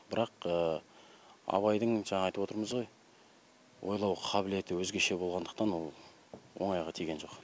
бірақ абайдың жаңа айтып отырмыз ғой ойлау қабілеті өзгеше болғандықтан ол оңайға тиген жоқ